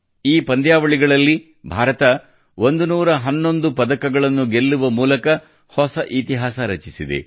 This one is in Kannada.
ಈ ಪಂದ್ಯಾವಳಿಗಳಲ್ಲಿ ಭಾರತ 111 ಪದಕಗಳನ್ನು ಗೆಲ್ಲುವ ಮೂಲಕ ಹೊಸ ಇತಿಹಾಸ ರಚಿಸಿದೆ